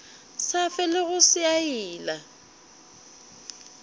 sa felego se a ila